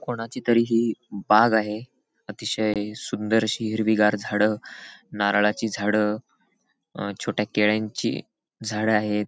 कोणाची तरी ही बाग आहे अतिशय सुंदर अशी हिरवी गार झाड नारळाची झाड अ छोट्या केळ्यांची झाड आहेत.